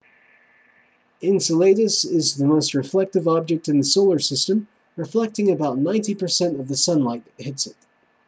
enceladus is the most reflective object in the solar system reflecting about 90% of the sunlight that hits it